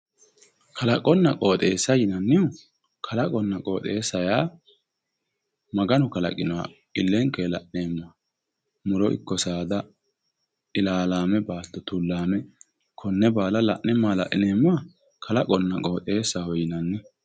Kalaqonna qoxxeessa yinnannihu kalaqunna qoxxeesu yaa Maganu kalanqoha ilenkenni la'neemmoha muro ikko saada ilalame baatto tulame kone baalla la'ne mala'lineemmoha kalaqonna qoxxeessa yinnanni.